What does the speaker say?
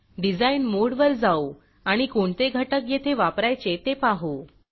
design मोडवर जाऊ आणि कोणते घटक येथे वापरायचे ते पाहू